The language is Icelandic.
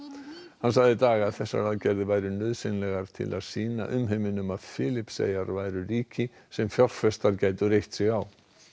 hann sagði í dag að þessar aðgerðir væru nauðsynlegar til þess að sýna umheiminum að Filippseyjar væru ríki sem fjárfestar gætu reitt sig á